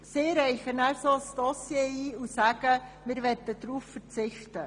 Sie reichen dann ein Dossier ein und sagen, sie würden darauf verzichten.